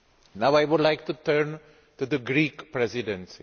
Now I would like to turn to the Greek Presidency.